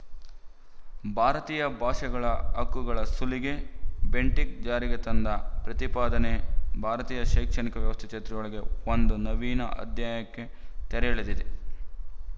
ಭಾರತೀಯ ಭಾಷೆಗಳ ಹಕ್ಕುಗಳ ಸುಲಿಗೆ ಬೆಂಟಿಂಕ್ ಜಾರಿಗೆ ತಂದ ಈ ಪ್ರತಿಪಾದನೆ ಭಾರತೀಯ ಶೈಕ್ಷಣಿಕ ವ್ಯವಸ್ಥೆ ಚರಿತ್ರೆಯೊಳಗೆ ಒಂದು ನವೀನ ಅಧ್ಯಾಯಕ್ಕೆ ತೆರೆ ಎಳೆದಿದೆ